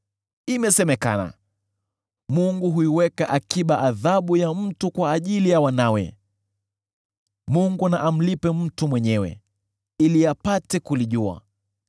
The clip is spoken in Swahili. Imesemekana, ‘Mungu huiweka akiba adhabu ya mtu kwa ajili ya wanawe.’ Mungu na amlipe mtu mwenyewe, ili apate kulijua!